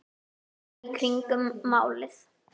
Fara í kringum málið?